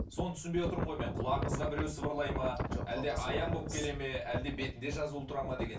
соны түсінбей отырмын ғой мен құлағыңызға біреу сыбырлайды ма әлде аян болып келеді ме әлде бетінде жазулы тұрады ма деген